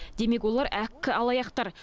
демек олар әккі алаяқтар